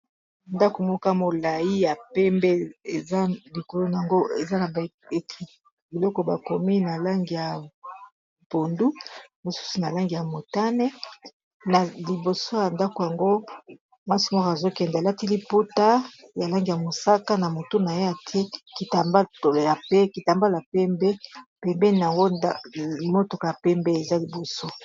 ndako moka molai ya pembe eza likolona yango eza na biloko bakomi na lange ya bondu mosusu na langi ya motane na liboso ya ndako yango mwasi moko azokende elati liputa ya langi ya mosaka na motu naye etie kitambalo ya pembe pembeni yango motoko ya pembe eza liboso